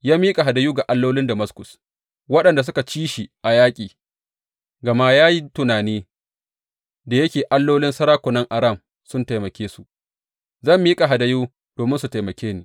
Ya miƙa hadayu ga allolin Damaskus, waɗanda suka ci shi a yaƙi; gama ya yi tunani, Da yake allolin sarakunan Aram sun taimake su, zan miƙa hadayu domin su taimake ni.